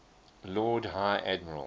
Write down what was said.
lord high admiral